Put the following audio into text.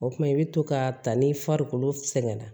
O kumana i bɛ to k'a ta ni farikolo sɛgɛnna